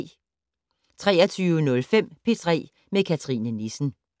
23:05: P3 med Cathrine Nissen